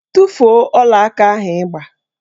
Tufuo ọlaaka ahụ ị gba!